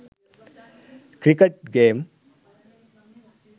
cricket game